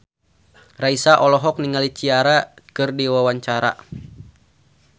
Raisa olohok ningali Ciara keur diwawancara